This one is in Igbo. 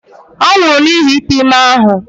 Ọ nwụrụ n'ihi ite ime ahụ.